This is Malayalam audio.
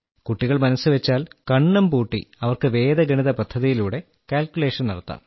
കുട്ടികൾ മനസ്സുവെച്ചാൽ കണ്ണും പൂട്ടി അവർക്ക് വേദഗണിത പദ്ധതിയിലൂടെ കാൽക്കുലേഷൻ നടത്താം